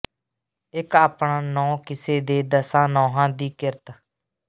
ਇਕ ਆਪਣਾ ਨੌਂ ਕਿਸੇ ਦੇ ਦਸਾਂ ਨੌਹਾਂ ਦੀ ਕਿਰਤ